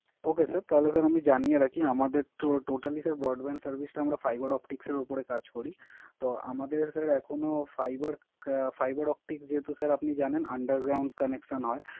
Ok Sir তাহলে sir আমি জানিয়ে রাখি আমাদের তো টোটালি স্যার Broadband Service টা আমরা Fiber optics এর উপরে কাজ করি। তো আমাদের স্যার এখনো Fiber obtics যেহেতু স্যার Under ground connection হয়